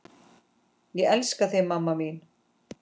Ég elska þig mamma mín.